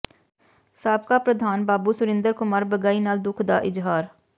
ਸਾਬਕਾ ਪ੍ਰਧਾਨ ਬਾਬੂ ਸੁਰਿੰਦਰ ਕੁਮਾਰ ਬਗਈ ਨਾਲ ਦੁੱਖ ਦਾ ਇਜ਼ਹਾਰ